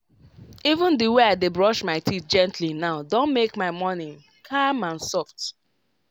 even the way i dey brush my teeth gently now don make my morning calm and soft.